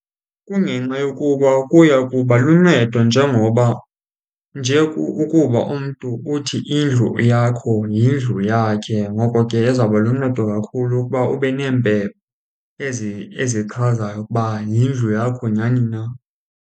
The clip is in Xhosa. Kungenxa yokuba kuya kuba luncedo njengoba nje ukuba umntu uthi indlu yakho yindlu yakhe. Ngoko ke izawuba luncedo kakhulu ukuba ube neempepha ezi ezichazayo ukuba yindlu yakho nyhani na.